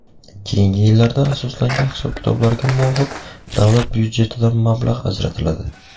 keyingi yillarda asoslangan hisob-kitoblarga muvofiq davlat byudjetidan mablag‘ ajratiladi.